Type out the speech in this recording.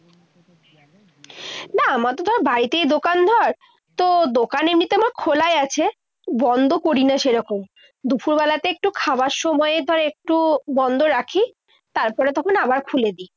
না। আমাদের তো বাড়িতে দোকান ধর। তো দোকান এমনিতে আমার খোলাই আছে। বন্ধ করিনা সেরকম। দুপুরবেলাতে একটু খাবার সময় ধর একটু বন্ধ রাখি। তারপরে তখন আবার খুলে দিই।